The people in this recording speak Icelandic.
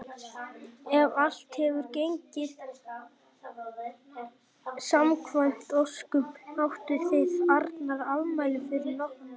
Ef allt hefur gengið samkvæmt óskum áttuð þið Arnar afmæli fyrir nokkrum dögum.